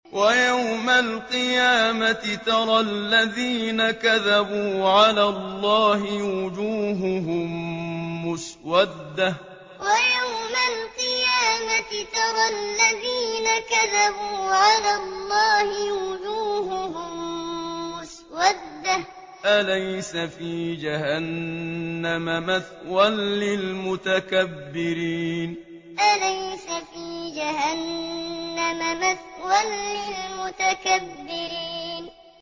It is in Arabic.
وَيَوْمَ الْقِيَامَةِ تَرَى الَّذِينَ كَذَبُوا عَلَى اللَّهِ وُجُوهُهُم مُّسْوَدَّةٌ ۚ أَلَيْسَ فِي جَهَنَّمَ مَثْوًى لِّلْمُتَكَبِّرِينَ وَيَوْمَ الْقِيَامَةِ تَرَى الَّذِينَ كَذَبُوا عَلَى اللَّهِ وُجُوهُهُم مُّسْوَدَّةٌ ۚ أَلَيْسَ فِي جَهَنَّمَ مَثْوًى لِّلْمُتَكَبِّرِينَ